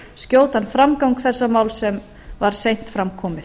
skjótan framgang þessa máls sem var seint fram komið